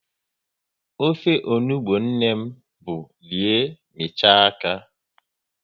Ofe onugbu nne m bụ rie, michaa aka